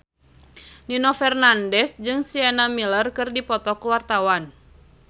Nino Fernandez jeung Sienna Miller keur dipoto ku wartawan